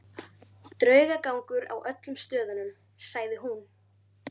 Draugagangur á öllum stöðunum, sagði hún.